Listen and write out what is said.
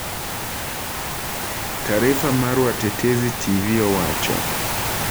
Taarifa mar Watetezi Tv owacho